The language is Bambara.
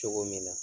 Cogo min na